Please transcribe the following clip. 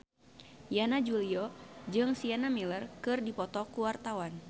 Yana Julio jeung Sienna Miller keur dipoto ku wartawan